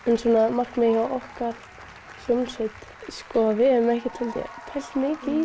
markmið hjá okkar hljómsveit við höfum ekki pælt mikið